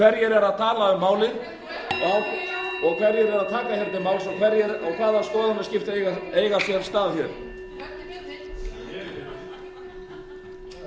hverjir eru að tala um málið hverjir eru að taka til máls og hvaða skoðanaskipti eiga sér stað